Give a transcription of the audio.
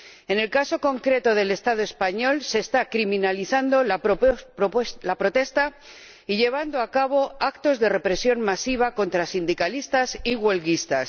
En el caso concreto del Estado español, se está criminalizando la protesta y se están llevando a cabo actos de represión masiva contra sindicalistas y huelguistas.